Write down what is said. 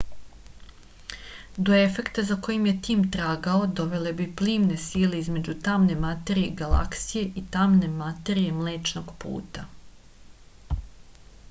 do efekta za kojim je tim tragao dovele bi plimne sile između tamne materije galaksije i tamne materije mlečnog puta